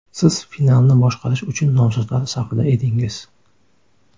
Siz finalni boshqarish uchun nomzodlar safida edingiz.